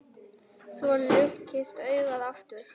Svo luktist augað aftur.